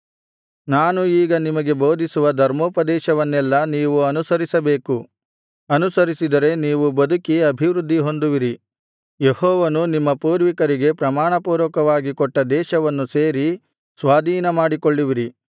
ನಾನು ಈಗ ನಿಮಗೆ ಬೋಧಿಸುವ ಧರ್ಮೋಪದೇಶವನ್ನೆಲ್ಲಾ ನೀವು ಅನುಸರಿಸಬೇಕು ಅನುಸರಿಸಿದರೆ ನೀವು ಬದುಕಿ ಅಭಿವೃದ್ಧಿಹೊಂದುವಿರಿ ಯೆಹೋವನು ನಿಮ್ಮ ಪೂರ್ವಿಕರಿಗೆ ಪ್ರಮಾಣಪೂರ್ವಕವಾಗಿ ಕೊಟ್ಟ ದೇಶವನ್ನು ಸೇರಿ ಸ್ವಾಧೀನಮಾಡಿಕೊಳ್ಳುವಿರಿ